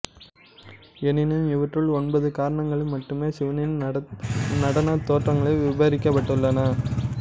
எனினும் இவற்றுள் ஒன்பது கரணங்களில் மட்டுமே சிவனின் நடனத் தோற்றங்கள் விபரிக்கப்பட்டுள்ளன